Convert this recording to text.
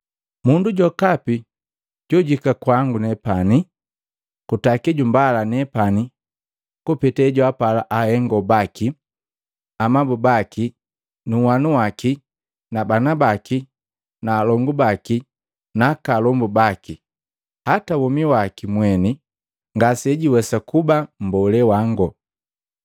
“Mundu jokapi jojuhika kwangu kutaki jumbala nepani kupeta hejwaapala ahengo baki na amabu baki, nunhwanu waki na bana baki, alongu baki na aka alombu baki hata womi waki mweni, ngasejiwesa kuba mbolee wango.